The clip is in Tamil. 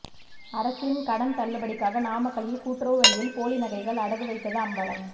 அரசின் கடன் தள்ளுபடிக்காக நாமக்கல்லில் கூட்டுறவு வங்கியில் போலி நகைகள் அடகு வைத்தது அம்பலம்